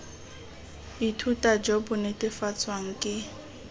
ithuta jo bo netefatswang ke